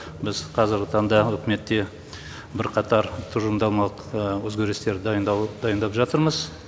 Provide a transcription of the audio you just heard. біз қазіргі таңда үкіметте бірқатар тұжырымдамалық өзгерістер дайындап жатырмыз